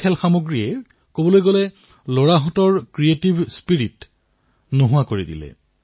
খেলাসামগ্ৰী আহি গল কিন্তু খেল শেষ হৈ গল আৰু শিশুটিৰ ফূৰ্তিও যেন হেৰাই গল